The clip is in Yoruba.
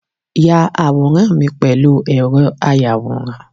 Ya àwòrán mi pèlú ẹ̀rọ ayàwòrán